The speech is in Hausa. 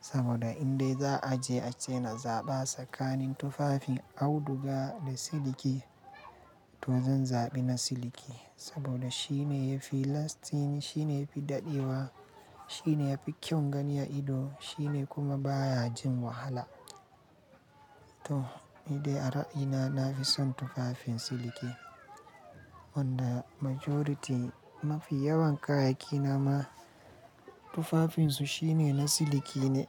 Saboda indai za a je a ce na zaɓa tsakanin tufafin auduga da siliki, to zan zaɓi na siliki. Saboda shi ne yafi lasting, shi ne yafi daɗewa, shi ne yafi kyau gani a ido, shi ne kuma baya jin wahala. To ni dai a ra'ina nafi son tufafin siliki. Wanda majority mafi yawan kayayyaki na ma tufafinsu shine na siliki ne.